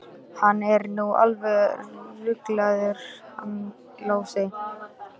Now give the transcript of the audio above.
Hann er nú alveg ruglaður hann Lási.